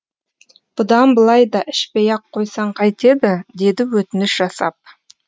бұдан былай да ішпей ақ қойсаң қайтеді деді өтініш жасап